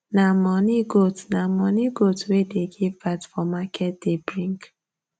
nah money goat nah money goat wey dey give birth for market day bring